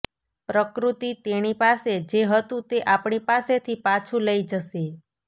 પ્રકૃતિ તેણી પાસે જે હતું તે આપણી પાસેથી પાછું લઈ જશે